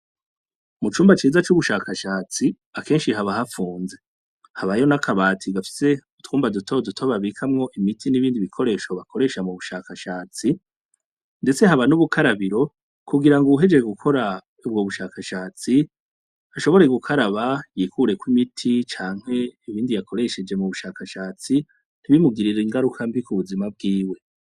Mucumba ciza c'ubushakashatsi akenshi haba hapfunze, habayo n'akabati gafise utwumba duto duto babikamwo imiti n'ibindi bikoresho bakoresha m'ubushakashatsi, ndetse haba n'ubukarabiro kugirango uwuhejeje ubwo bushakashatsi ashobore gukaraba yikureko imiti, canke ibindi yakoresheje m'ubushakashatsi ,ntibimugirire ingaruka mbi kubuzima bwiwe.